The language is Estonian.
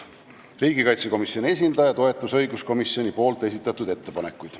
Riigikaitsekomisjoni esindaja toetas õiguskomisjoni esitatud ettepanekuid.